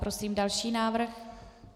Prosím další návrh.